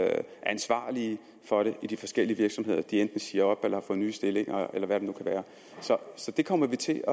ansvarlige for det i de forskellige virksomheder enten siger op eller har fået nye stillinger eller hvad det nu kan være så det kommer vi til